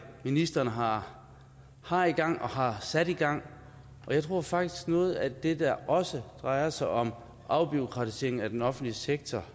ministeren har har i gang og har sat i gang og jeg tror faktisk noget af det der også drejer sig om afbureaukratisering af den offentlige sektor